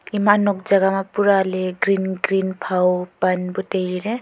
ima nok jaga ma pura ley green green phao pan bu tailey.